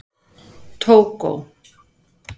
Tógó